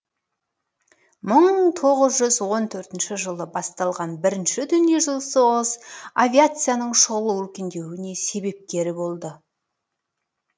мың тоғыз жүз он төртінші жылы басталған бірінші дүниежүзілік соғыс авиацияның шұғыл өркендеуіне себепкері болды